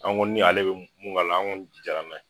An ko ni ale bɛ mun k'a la an kɔni jɛna na ye.